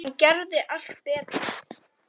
Hann gerði allt betra.